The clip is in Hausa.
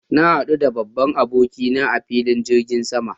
Na hadu da babban aboki na a filin jirgin sama